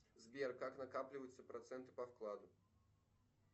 сбер как накапливаются проценты по вкладу